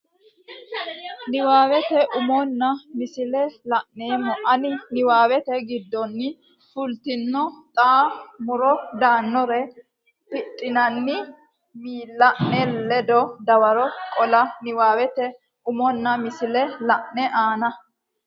Niwaawete umonna misile la ine aane Niwaawete giddonni fultino xa mora daannore heddinanni miilla ne ledo dawaro qola Niwaawete umonna misile la ine aane.